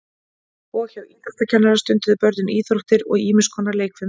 Og hjá íþróttakennara stunduðu börnin íþróttir og ýmis konar leikfimi.